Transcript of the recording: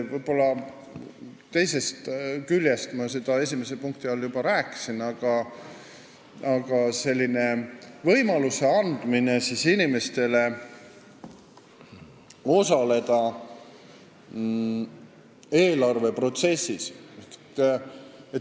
Ühest küljest ma sellest juba esimese punkti all rääkisin, st inimestele võimaluse andmisest osaleda eelarveprotsessis.